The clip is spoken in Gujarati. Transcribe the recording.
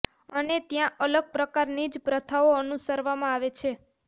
અને ત્યાં અલગ પ્રકારની જ પ્રથાઓ અનુસરવામાં આવે છે